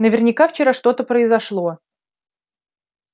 наверняка вчера что-то произошло